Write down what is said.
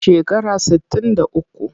Shekara sittin da uku.